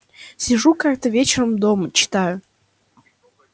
сижу как-то вечером дома читаю